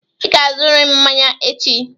Ị ga-azụrịrị m mmanya echi!